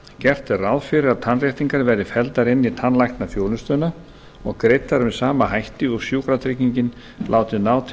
gert er ráð fyrir að tannréttingar verði felldar inn í tannlæknaþjónustuna og greiddar með sama hætti og sjúkratryggingin og látin ná til